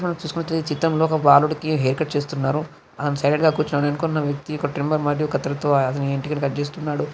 మనం చూస్తున్నట్లయితే ఈ చిత్రంలో ఒక బాలుడికి హెయిర్ కట్ చేస్తున్నారు అతను సైలెంట్ గా కూర్చున్నాడు వెనుకున్న వ్యక్తి ఒక ట్రిమ్మర్ మరియు కత్తెరతో అతని వెంట్రుకలు కట్ చేస్తున్నాడు.